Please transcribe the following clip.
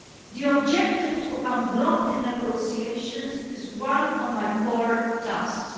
The objective to unblock the negotiations is one of my core tasks.